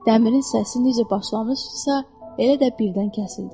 Dəmirin səsi necə başlamışdısa, elə də birdən kəsildi.